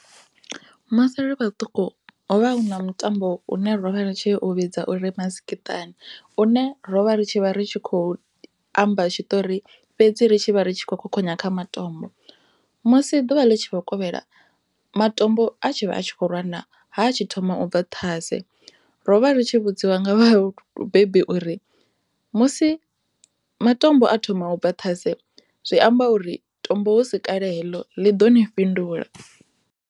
Musi ri vha ṱuku hovha hu na mutambo une ra u vhidza uri masikiṱani une ro vha ri tshi vha ri kho amba tshiṱori fhedzi ri tshivha ri khou khokhonya kha matombo musi ḓuvha ḽi tshi khou kovhela matombo a tshi khou rwana ha tshi thoma u bva ṱhase ro vha ri tshi vhudziwa nga vhabebi uri musi matombo a thoma u bva ṱhase zwi amba uri tombo hu si kale heḽo ḽi ḓo ni fhindula.